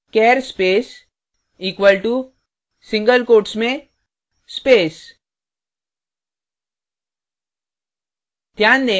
char space equal to single quotes में space